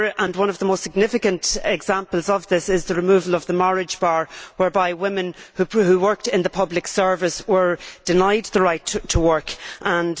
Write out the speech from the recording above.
One of the most significant examples of this was the removal of the marriage bar, whereby women who worked in the public service were denied the right to work after they married.